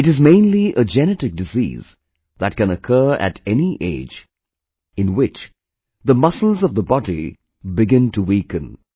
It is mainly a genetic disease that can occur at any age, in which the muscles of the body begin to weaken